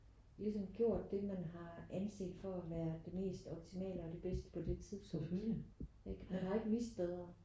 Ligesom gjort det man har anset for at være det mest optimale og det bedste på det tidspunkt ikke? Man har ikke vist bedre